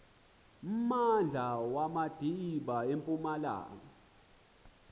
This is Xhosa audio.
mmandla wamadiba empumalanga